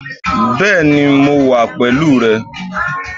Bẹ́ẹ̀ni mo wà pẹ̀lú rè